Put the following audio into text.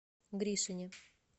гришине